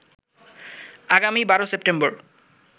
আগামী ১২ সেপ্টেম্বর